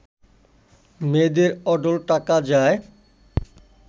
মেয়েদের অঢেল টাকা যায়